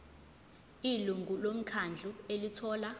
ilungu lomkhandlu elithola